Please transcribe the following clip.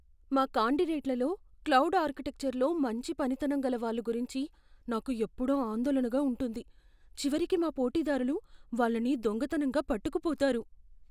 మా కాండిడేట్లలో క్లౌడ్ ఆర్కిటెక్చర్లో మంచి పనితనం గల వాళ్ల గురించి నాకు ఎప్పుడూ ఆందోళనగా ఉంటుంది. చివరికి మా పోటీదారులు వాళ్ళని దొంగతనంగా పట్టుకుపోతారు.